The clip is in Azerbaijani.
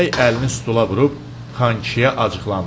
Bəy əlini stula vurub xankişiyə acıqlandı.